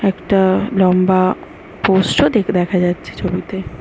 একটা-আ লম্বা পোস্ট ও দেখা যাচ্ছে ছবি তে।